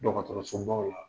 Dɔgɔtɔrɔsobaw la